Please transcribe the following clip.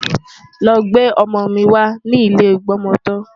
Lọ gbé ọmọ mi wá ní ilé ìgbọmọtọ́!